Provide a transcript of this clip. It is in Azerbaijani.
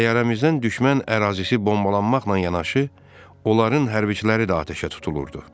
Təyyarəmizdən düşmən ərazisi bombalanmaqla yanaşı, onların hərbiçiləri də atəşə tutulurdu.